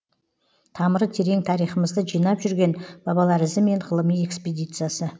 тамыры терең тарихымызды жинап жүрген бабалар ізімен ғылыми экспедициясы